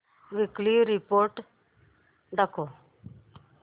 weekly report दाखव